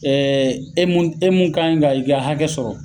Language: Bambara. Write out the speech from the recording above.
Ɛɛ e mun, e mun kan ka i ka hakɛ sɔrɔ